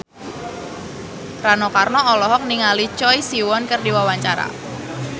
Rano Karno olohok ningali Choi Siwon keur diwawancara